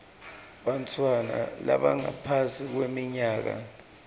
bantfwana labangaphasi kweminyaka